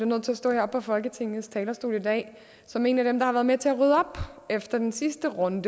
nødt til at stå her på folketingets talerstol i dag som en af dem der har været med til at rydde op efter den sidste runde